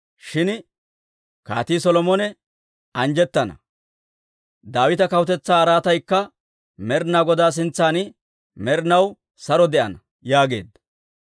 Shin Kaatii Solomone anjjettana; Daawita kawutetsaa araataykka Med'inaa Godaa sintsan med'inaw saro de'ana» yaageedda.